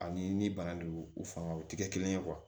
Ani ni bana don u fanga o tɛ kɛ kelen ye